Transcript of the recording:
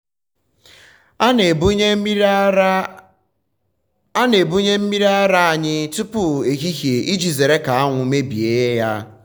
a na-ebunye mmiri ara anyị um tupu ehihie iji zere ka anwụ um mebie ya.